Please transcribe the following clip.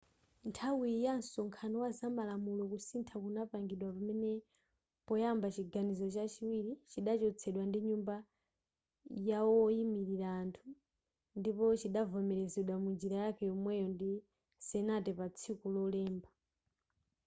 nthawi iyi yamsonkhano wazamalamulo kusintha kunapangidwa pamene poyamba chiganizo chachiwiri chidachotsedwa ndi nyumba yawoyimilira anthu ndipo chidavomerezedwa munjira yake yomweyo ndi senate patsiku lolemba